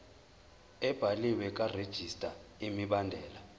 ebhaliwe karegistrar imibandela